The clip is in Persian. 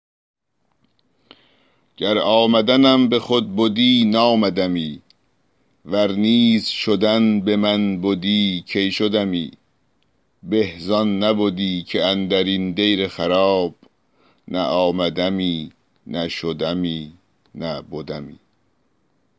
گر آمدنم به خود بدی نآمدمی ور نیز شدن به من بدی کی شدمی به زان نبدی که اندر این دیر خراب نه آمدمی نه شدمی نه بدمی